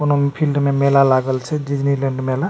कोनो फील्ड में मेला लागल छै डिज्नीलैंड मेला --